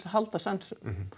að halda sönsum